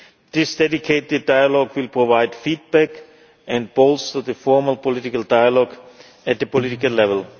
cases. This dedicated dialogue will provide feedback and bolster the formal political dialogue at the political